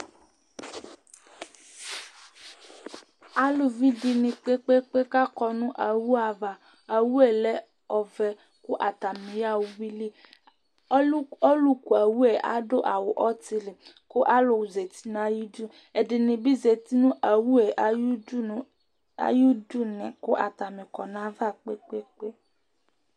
Alʋvi dìní kpe kpe kpe kʋ akɔ nʋ owu ava Owu lɛ ɔvɛ kʋ atani yaha ʋwʋili Ɔlu kʋ owu yɛ adu awu ɔtili kʋ alu zɛti nʋ ayʋ du Ɛdiní bi zɛti nʋ owu yɛ ayʋ du kʋ atani kɔ nʋ ayʋ ava kpe kpe kpe